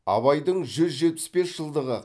абайдың жүз жетпіс бес жылдығы